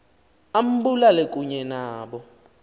ambulale kunye nabo